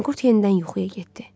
Manqurt yenidən yuxuya getdi.